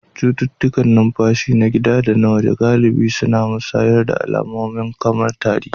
Cututtukan numfashi, na gida da na waje, galibi suna musayar alamomi kamar tari